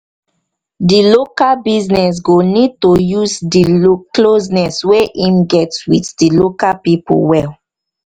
di local business go need to use di closeness wey im get with di local pipo well